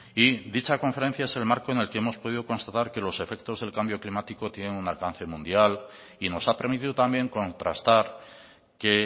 y dicha conferencia es el marco en el que hemos podido constatar que los efectos del cambio climático tienen un alcance mundial y nos ha permitido también contrastar que